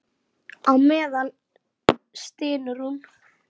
Á meðan stynur hún.